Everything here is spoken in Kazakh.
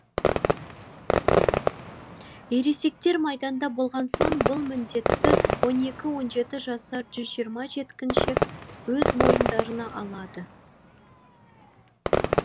ересектер майданда болған соң бұл міндетті он екі он жеті жасар жүз жиырма жеткіншек өз мойындарына алады